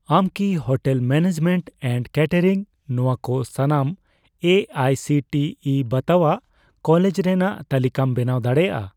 ᱟᱢ ᱠᱤ hotel management and catering ᱱᱚᱣᱟ ᱠᱚ ᱥᱟᱱᱟᱢ A I C T E ᱵᱟᱛᱟᱣᱟᱜ ᱠᱚᱞᱮᱡᱽ ᱨᱮᱱᱟᱜ ᱛᱟᱞᱤᱠᱟᱢ ᱵᱮᱱᱟᱣ ᱫᱟᱲᱮᱭᱟᱜᱼᱟ ᱾